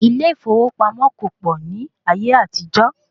Ilé ìfowópamọ́ kò pọ̀ ní ayé àtijó.